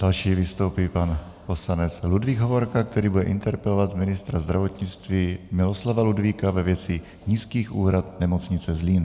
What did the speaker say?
Další vystoupí pan poslanec Ludvík Hovorka, který bude interpelovat ministra zdravotnictví Miloslava Ludvíka ve věci nízkých úhrad nemocnice Zlín.